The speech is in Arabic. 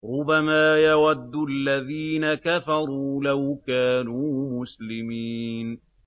رُّبَمَا يَوَدُّ الَّذِينَ كَفَرُوا لَوْ كَانُوا مُسْلِمِينَ